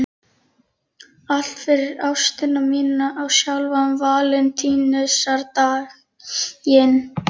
Allt fyrir ástina mína á sjálfan Valentínusardaginn.